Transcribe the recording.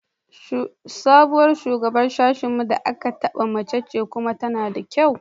Sabuwar Shugaban Sashen mu da aka zaɓa mace ce kuma tana da kyau.